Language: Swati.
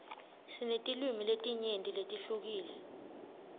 sinetilwimi letinyenti letihlukile